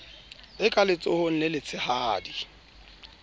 e ka letsohong le letshehadi